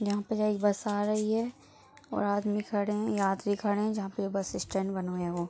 यहाँ प जेहे इ बस आ रही है और आदमी खड़े हैं यात्री खड़े हैं जहाँ पे ये बस स्टैंड बनवाया हु --